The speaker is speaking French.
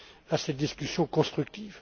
à cette discussion constructive.